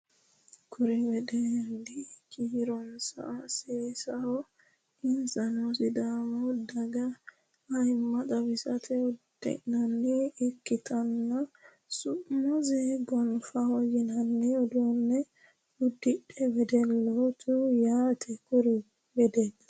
Kuri wedelli kiironsa saseho insano sidaamuu daaga ayimma xawissanno uddano ikkitinota su'mase gonfoha yininna uddano udidhino wedellaati yaate kuri wedilli